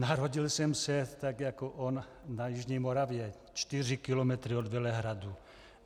Narodil jsem se tak jako on na Jižní Moravě, čtyři kilometry od Velehradu.